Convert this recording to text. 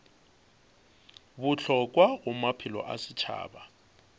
bohlokwa go maphelo a setšhaba